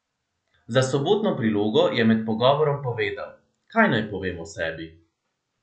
Za Sobotno prilogo je med pogovorom povedal: "Kaj naj povem o sebi.